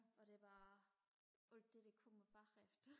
og det er bare alt det der kommer bagefter